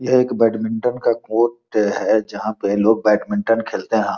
ये बैडमिंटन का कोर्ट हैं जहाॅं पे लोग बैडमिंटन खेलते हैं।